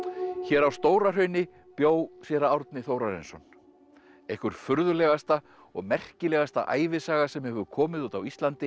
hér á Stóra Hrauni bjó séra Árni Þórarinsson einhver furðulegasta og merkilegasta ævisaga sem hefur komið út á Íslandi